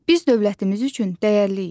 Biz dövlətimiz üçün dəyərliyik.